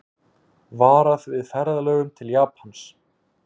Varað við ferðalögum til Japans